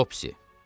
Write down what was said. Topsy.